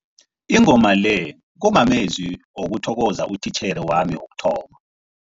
Ingoma le kumamezwi wokuthokoza utitjhere wami wokuthoma.